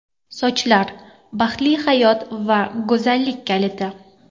Sochlar – baxtli hayot va go‘zallik kaliti.